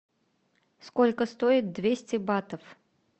сколько стоит двести батов